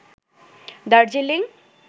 Darjeeling